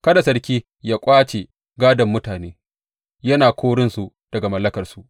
Kada sarki ya ƙwace gādon mutane, yana korinsu daga mallakarsu.